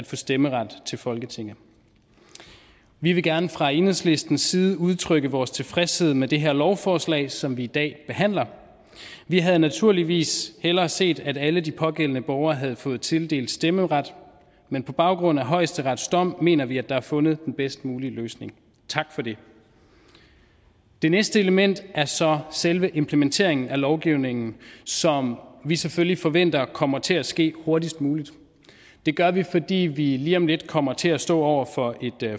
få stemmeret til folketinget vi vil gerne fra enhedslistens side udtrykke vores tilfredshed med det her lovforslag som i dag behandler vi havde naturligvis hellere set at alle de pågældende borgere havde fået tildelt stemmeret men på baggrund af højesterets dom mener vi at der er fundet den bedst mulige løsning tak for det det næste element er så selve implementeringen af lovgivningen som vi selvfølgelig forventer kommer til at ske hurtigst muligt det gør vi fordi vi lige om lidt kommer til at stå over for et